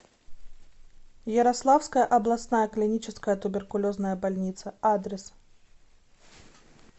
ярославская областная клиническая туберкулезная больница адрес